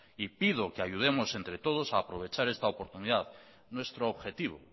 y pido que ayudemos entre todos a aprovechar esta oportunidad nuestro objetivo